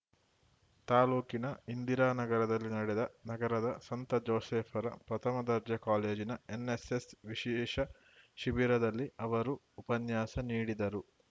ತಾಲೂಕಿನ ಇಂದಿರಾ ನಗರದಲ್ಲಿ ನಡೆದ ನಗರದ ಸಂತ ಜೋಸೇಫರ ಪ್ರಥಮ ದರ್ಜೆ ಕಾಲೇಜಿನ ಎನ್‌ಎಸ್‌ಎಸ್‌ ವಿಶೇಷ ಶಿಬಿರದಲ್ಲಿ ಅವರು ಉಪನ್ಯಾಸ ನೀಡಿದರು